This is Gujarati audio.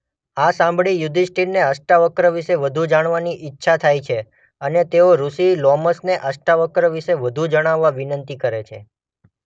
આ સાંભળી યુધિષ્ઠિરને અષ્ટાવક્ર વિષે વધુ જાણવાની ઇચ્છા થાય છે અને તેઓ ઋષિ લોમશને અષ્ટાવક્ર વિષે વધુ જણાવવા વિનંતી કરે છે.